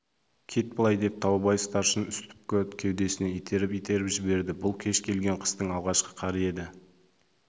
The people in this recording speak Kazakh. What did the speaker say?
кет былай деп таубай старшын үсіпті кеудесінен итеріп-итеріп жіберді бұл кеш келген қыстың алғашқы қары еді